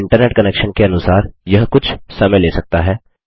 आपके internet connection के अनुसार यह कुछ समय ले सकता है